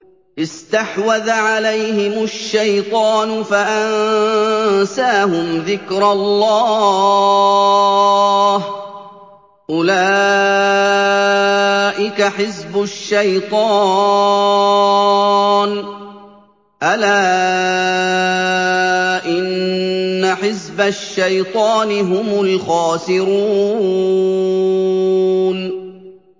اسْتَحْوَذَ عَلَيْهِمُ الشَّيْطَانُ فَأَنسَاهُمْ ذِكْرَ اللَّهِ ۚ أُولَٰئِكَ حِزْبُ الشَّيْطَانِ ۚ أَلَا إِنَّ حِزْبَ الشَّيْطَانِ هُمُ الْخَاسِرُونَ